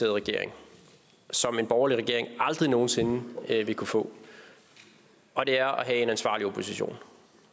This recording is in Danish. regering som en borgerlig regering aldrig nogen sinde vil kunne få og det er at have en ansvarlig opposition